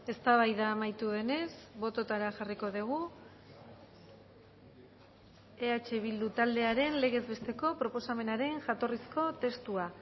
eztabaida amaitu denez bototara jarriko dugu eh bildu taldearen legez besteko proposamenaren jatorrizko testua